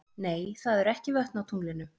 Nei, það eru ekki vötn á tunglinu.